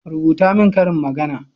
rubuta min ƙarin magana!